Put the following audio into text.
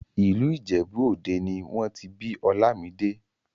ìlú ìjẹ̀bú òde nì wọ́n ti bí Olamide